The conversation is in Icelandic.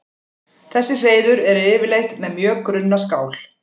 Þessi hreiður eru yfirleitt með mjög grunna skál.